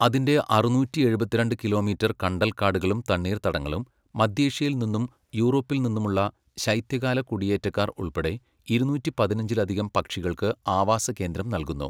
അതിൻ്റെ അറുനൂറ്റി എഴുപത്തിരണ്ട് കിലോമീറ്റർ കണ്ടൽക്കാടുകളും തണ്ണീർത്തടങ്ങളും, മധ്യേഷ്യയിൽ നിന്നും യൂറോപ്പിൽ നിന്നുമുള്ള ശൈത്യകാല കുടിയേറ്റക്കാർ ഉൾപ്പെടെ, ഇരുനൂറ്റി പതിനഞ്ചിലധികം പക്ഷികൾക്ക് ആവാസ കേന്ദ്രം നൽകുന്നു.